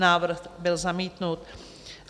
Návrh byl zamítnut.